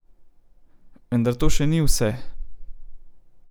Vendar to še ni vse.